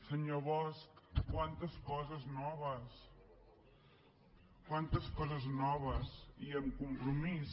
senyor bosch quantes coses noves quantes coses noves i amb compromís